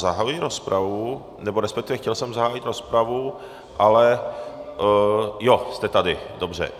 Zahajuji rozpravu, nebo respektive chtěl jsem zahájit rozpravu, ale... jo, jste tady, dobře.